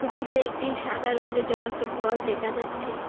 উপরে একটি সাদা রংগের জ্বলন্ত ভল দেখা যাচ্ছে।